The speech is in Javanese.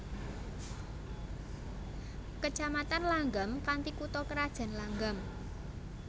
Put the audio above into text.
Kecamatan Langgam kanthi kutha krajan Langgam